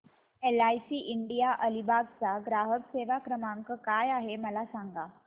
LIC India Alibag चा ग्राहक सेवा क्रमांक काय आहे मला सांगा